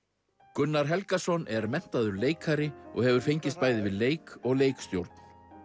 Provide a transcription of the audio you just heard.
Gunnar Helgason er menntaður leikari og hefur fengist bæði við leik og leikstjórn